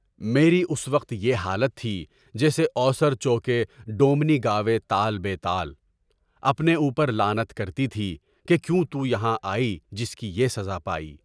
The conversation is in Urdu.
میری اس وقت یہ حالت تھی جیسے اوسر چو کے ڈومنی گاوے تال بے تال، اپنے اوپر لعنت کرتی تھی کہ کیوں تو یہاں آئی جس کی یہ سزائے ہوئی؟